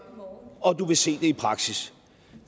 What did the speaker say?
og du vil se det i praksis